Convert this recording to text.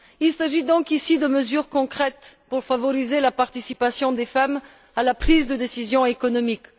Il s'agit donc ici de mesures concrètes pour favoriser la participation des femmes à la prise de décisions économiques.